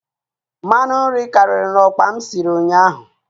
Mmanụ nri karịrị na okpa m sịrị ụnyaahụ